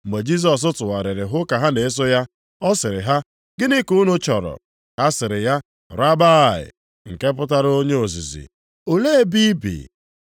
Mgbe Jisọs tụgharịrị hụ ka ha na-eso ya, ọ sịrị ha, “Gịnị ka unu chọrọ?” Ha sịrị ya, “Rabbi” + 1:38 Ụfọdụ na-akpọkwa mkpụrụ okwu a, Rabaị. (nke pụtara “Onye ozizi”), “olee ebe i bi?”